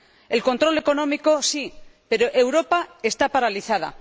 El control económico, sí, pero Europa está paralizada.